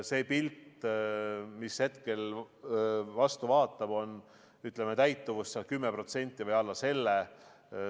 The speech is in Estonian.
See pilt, mis hetkel vastu vaatab, näitab, et täitumus on 10% või alla selle.